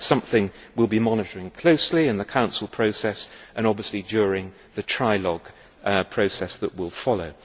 That is something we will be monitoring closely in the Council process, and obviously during the trilogue process that will follow.